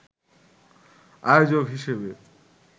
আয়োজক হিসেবে